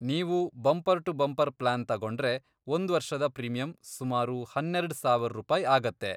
ನೀವು bumper to bumper plan ತಗೊಂಡ್ರೆ, ಒಂದ್ವರ್ಷದ ಪ್ರೀಮಿಯಂ ಸುಮಾರು ಹನ್ನೆರೆಡ್ ಸಾವರ್ ರೂಪಾಯಿ ಆಗತ್ತೆ.